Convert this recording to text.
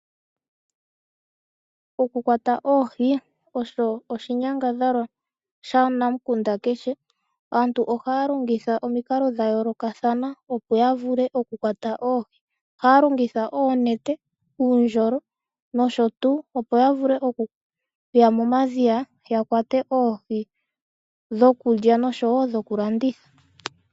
Okukwata oohi osho oshinyangadhalwa shanamukunda kehe aantu ohaya longitha omikalo dha yoolokathana opo ya vule oku kwata oohi ohaya longitha oonete ,uundjolo nosho tuu opo ya vule okuya momadhiya ya kwate oohi dhokulya oshowo dhokulanditha.